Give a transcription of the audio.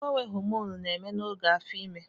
Mgbanwe hòmònụ na-eme n'oge afọ imé